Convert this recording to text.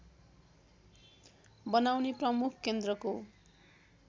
बनाउने प्रमुख केन्द्रको